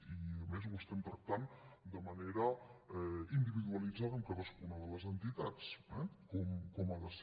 i a més ho estem tractant de manera individualitzada amb cadascuna de les entitats eh com ha de ser